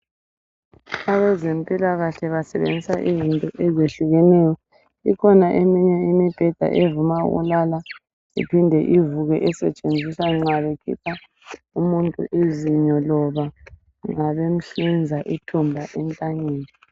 Abezempilakahle basebenzisa izinto ezehlukeneyo .Ikhona eminye imibheda evuma ukulala iphinde ivuke esetshenziswa uma bekhipha umuntu izinyo kumbe bemkhupha ithumba entanyeni.